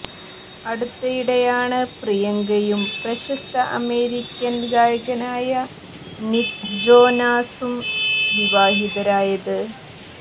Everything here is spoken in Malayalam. അടുത്തിടെയാണ് പ്രിയങ്കയും പ്രശസ്ത അമേരിക്കന് ഗായകനായ നിക്ക് ജോനാസും വിവാഹിതരായത്